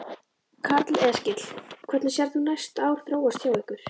Karl Eskil: Hvernig sérð þú næstu ár þróast hjá ykkur?